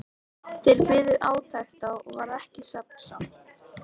Þeir biðu átekta og varð ekki svefnsamt.